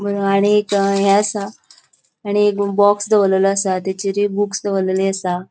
आणि एक हे आसा आणि एक बॉक्स दोवोरलोलो आसा तेचेरी बुक्स दोवोरलेली आसा.